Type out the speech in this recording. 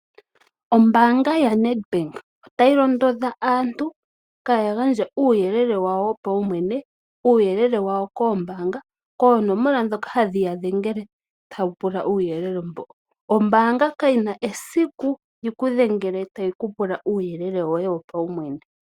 Ombaanga yaNedbank otayi londodha aantu kaya gandje uuyelele wawo wopawumwene, uuyelele wawo koombaanga koonomola dhoka hadhi yadhengele tawu pula uuyelele mbo. Ombaanga kayina esiku yikudhengele tayi ku pula uuyelele wopawumwene.